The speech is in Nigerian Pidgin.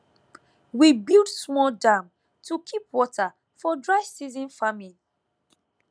we build small dam to keep water for dry season farming